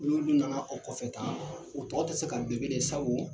N'ulu na na o kɔfɛ tan u tɔw tɛ se ka dɛ sabu